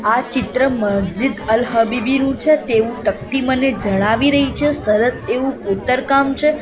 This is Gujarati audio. આ ચિત્ર મસ્જિદ અલ હબીબીનું છે તેવુ ટક્તી મને જણાવી રહી છે સરસ એવુ ખોતરકામ છે.